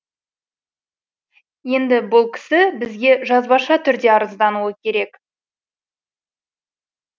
енді бұл кісі бізге жазбаша түрде арыздануы керек